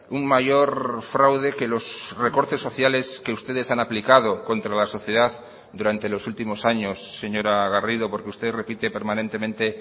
un mayor fraude que los recortes sociales que ustedes han aplicado contra la sociedad durante los últimos años señora garrido porque usted repite permanentemente